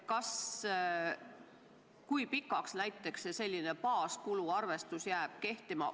Kui pikaks see baaskulu arvestus jääb kehtima?